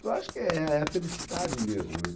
Então, acho que é é a felicidade mesmo, né.